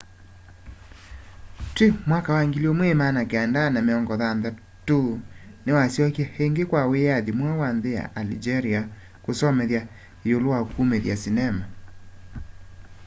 twi 1960s niwasyokie ingi kwa wiyathi mweu wa nthi ya algeria kusomethya iulu wa kumithya sinema